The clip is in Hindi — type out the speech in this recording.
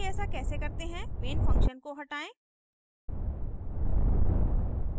main function को हटायें